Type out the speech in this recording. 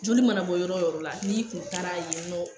Joli mana bɔ yɔrɔ yɔrɔ la, n'i kun taara yen nɔ